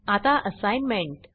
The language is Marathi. आता असाईनमेंट